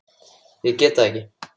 Ég get það ekki